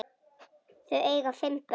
Þau eiga fimm börn